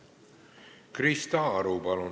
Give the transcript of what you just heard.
Krista Aru, palun!